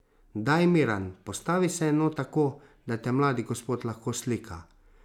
Daj, Miran, postavi se no tako, da te mladi gospod lahko slika!